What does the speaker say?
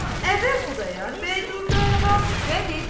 Əvvəl Xudayar bəy durdu ayağa və dedi: